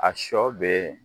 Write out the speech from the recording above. A sɔ bɛ